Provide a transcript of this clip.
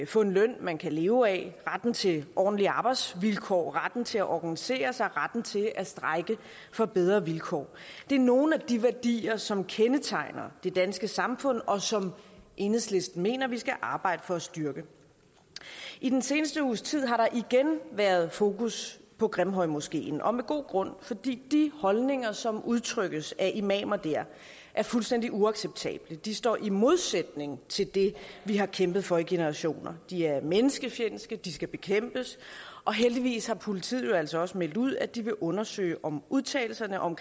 få en løn man kan leve af retten til ordentlige arbejdsvilkår retten til at organisere sig retten til at strejke for bedre vilkår det er nogle af de værdier som kendetegner det danske samfund og som enhedslisten mener vi skal arbejde for for at styrke i den sidste uges tid har der igen været fokus på grimhøjmoskeen og med god grund fordi de holdninger som udtrykkes af imamer der er fuldstændig uacceptable de står i modsætning til det vi har kæmpet for i generationer de er menneskefjendske de skal bekæmpes og heldigvis har politiet jo altså også meldt ud at de vil undersøge om udtalelserne om